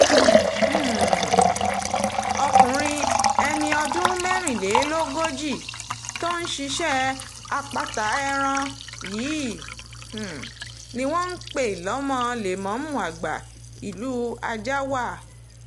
um ọkùnrin ẹni ọdún mẹ́rìnlélógójì tó ń ṣiṣẹ́ àpáta ẹran yìí um ni wọ́n pè lọ́mọ lẹ́mọ̀ọ́mù àgbà ìlú ajáàwá